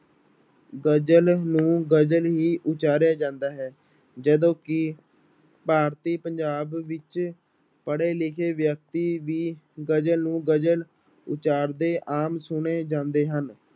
ਗਜ਼ਲ ਨੂੰ ਗਜ਼ਲ ਹੀ ਉਚਾਰਿਆ ਜਾਂਦਾ ਹੈ ਜਦੋਂ ਕਿ ਭਾਰਤੀ ਪੰਜਾਬ ਵਿੱਚ ਪੜ੍ਹੇ ਲਿਖੇ ਵਿਅਕਤੀ ਵੀ ਗਜ਼ਲ ਨੂੰ ਗਜਲ ਉਚਾਰਦੇ ਆਮ ਸੁਣੇ ਜਾਂਦੇ ਹਨ।